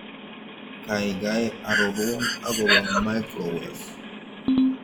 Gaigai arorwon agobo microwave